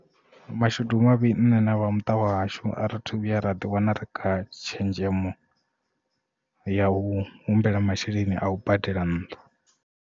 Mashudu mavhi nṋe na vhamuṱa wahashu a ri thu vhuya ra ḓi wana ri kha tshenzhemo ya u humbela masheleni a u badela nnḓu.